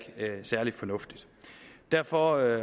er særlig fornuftigt derfor